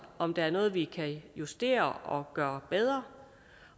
om der er noget vi kan justere og gøre bedre